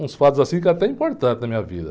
Uns fatos assim que eram até importantes na minha vida.